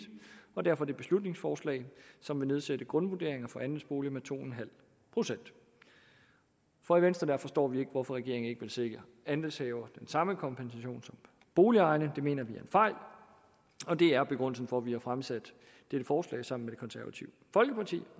og derfor dette beslutningsforslag som vil nedsætte grundvurderingerne for andelsboliger med to procent for i venstre forstår vi ikke hvorfor regeringen ikke vil sikre andelshaverne den samme kompensation som boligejerne det mener vi er en fejl og det er begrundelsen for at vi har fremsat dette forslag sammen med det konservative folkeparti